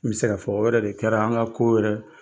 N bi se ka fɔ o yɛrɛ de kɛra an ka ko yɛrɛ